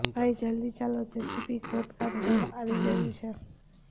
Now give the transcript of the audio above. ભાઈ જલ્દી ચાલો જેસીબી ખોદકામ કરવા આવી ગયું છે